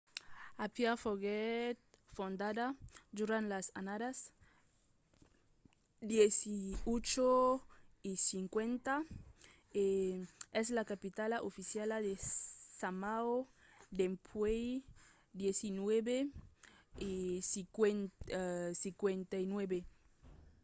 apia foguèt fondada durant las annadas 1850 e es la capitala oficiala de samoa dempuèi 1959